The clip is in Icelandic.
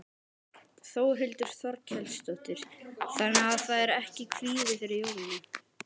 Þórhildur Þorkelsdóttir: Þannig að það er ekki kvíði fyrir jólunum?